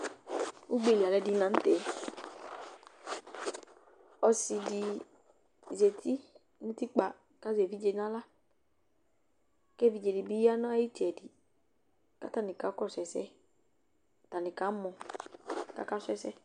Ugbe li alʋɛdɩnɩ la nʋ tɛ Ɔsɩ dɩ zati nʋ utikpa kʋ azɛ evidze dɩ nʋ aɣla kʋ evidze dɩ bɩ ya nʋ ayʋ ɩtsɛdɩ kʋ atanɩ kakɔsʋ ɛsɛ, atanɩ kamɔ kʋ akasʋ ɛsɛ